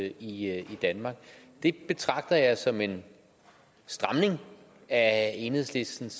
i danmark det betragter jeg som en stramning af enhedslistens